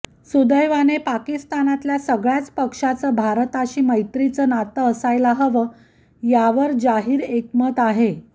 सुदैवाने पाकिस्तानातल्या सगळ्याच पक्षांचं भारताशी मैत्रीचं नातं असायला हवं यावर जाहीर एकमत आहे